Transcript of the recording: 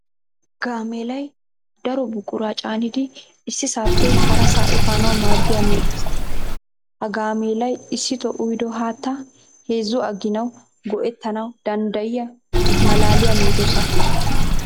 Gaameelay daro buquraa caanidi issisaappe harasaa efanawu maaddiya medoossa. Ha gaameelay issitoo uyido haattaa heezzu aginawu go'ettana danddayiya malaaliya medossa.